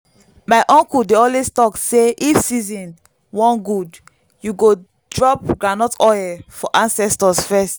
my uncle dey always talk say if season wan good you go drop groundnut oil for ancestors first